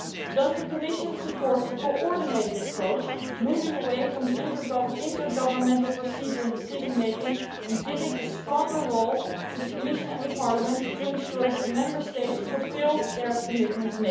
Does the Commission support a coordinated approach, moving away from the intergovernmental procedure in decision making and giving a stronger role to the Commission and Parliament to ensure that Member States fulfil their commitments?